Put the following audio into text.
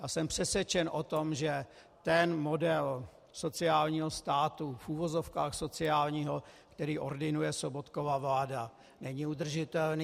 A jsem přesvědčen o tom, že ten model sociálního státu, v uvozovkách sociálního, který ordinuje Sobotkova vláda, není udržitelný.